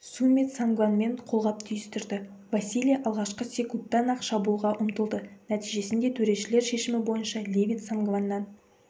сумит сангванмен қолғап түйістірді василий алғашқы секундтан-ақ шабуылға ұмтылды нәтижесінде төрешілер шешімі бойынша левит сангваннан